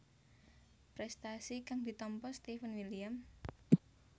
Prestasi kang ditampa Steven William